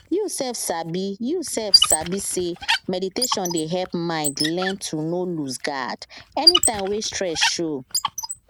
you sef sabi you sef sabi say meditation dey help mind learn to nor lose guard anytime when stress show